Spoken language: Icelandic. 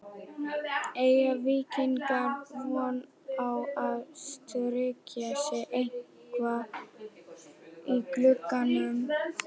Eiga Víkingar von á að styrkja sig eitthvað í glugganum?